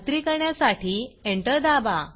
खात्री करण्यासाठी एंटर दाबा